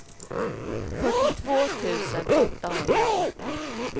fyrtiotvå tusen åttahundraåttio